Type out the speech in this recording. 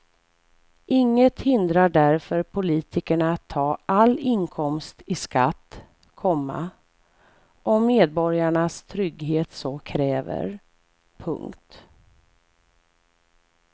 Inget hindrar därför politikerna att ta all inkomst i skatt, komma om medborgarnas trygghet så kräver. punkt